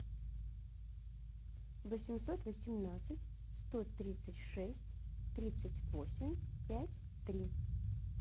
восемьсот восемнадцать сто тридцать шесть тридцать восемь пять три